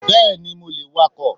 Bẹ́ẹ̀ni mo lè wakọ̀.